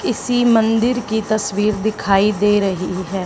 किसी मंदिर की तस्वीर दिखाई दे रही है।